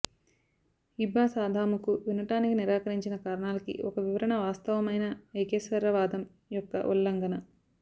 ఇబ్బాస్ ఆదాముకు వినటానికి నిరాకరించిన కారణాలకి ఒక వివరణ వాస్తవమైన ఏకేశ్వరవాదం యొక్క ఉల్లంఘన